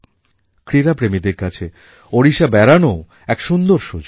ক্রীড়াপ্রেমীদের কাছে ওড়িশা বেড়ানোও এক সুন্দর সুযোগ